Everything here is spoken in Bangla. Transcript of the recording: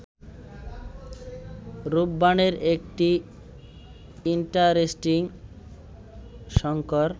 রূপবানের একটি ইন্টারেস্টিং শংকর